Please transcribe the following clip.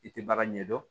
I tɛ baara ɲɛdɔn